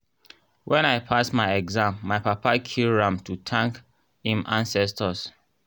when i pass my exam my papa kill ram to thank im ancestors.